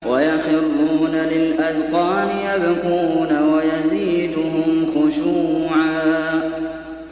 وَيَخِرُّونَ لِلْأَذْقَانِ يَبْكُونَ وَيَزِيدُهُمْ خُشُوعًا ۩